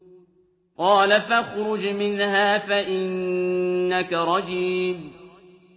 قَالَ فَاخْرُجْ مِنْهَا فَإِنَّكَ رَجِيمٌ